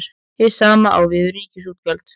Hið sama á við um ríkisútgjöld.